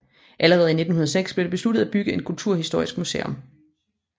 Allerede i 1906 blev det besluttet at bygge en kulturhistorisk museum